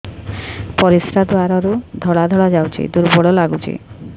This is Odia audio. ପରିଶ୍ରା ଦ୍ୱାର ରୁ ଧଳା ଧଳା ଯାଉଚି ଦୁର୍ବଳ ଲାଗୁଚି